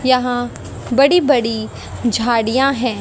यहां बड़ी बड़ी झाड़ियां हैं।